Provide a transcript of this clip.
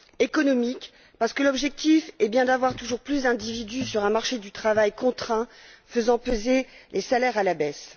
Économiques, parce que l'objectif est bien d'avoir toujours plus d'individus sur un marché du travail contraint faisant peser les salaires à la baisse.